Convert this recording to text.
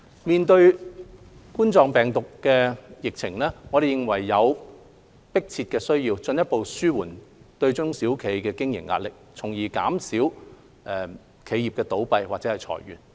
面對冠狀病毒病疫情，我們認為有迫切需要進一步紓緩中小企的經營壓力，從而減少企業倒閉或裁員。